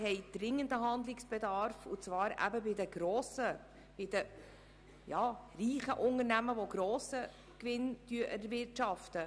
Wir haben dringenden Handlungsbedarf und zwar eben bei den reichen Unternehmen, die einen grossen Gewinn erwirtschaften.